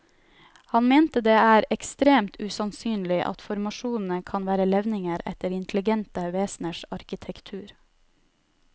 Han mente det er ekstremt usannsynlig at formasjonene kan være levninger etter intelligente veseners arkitektur.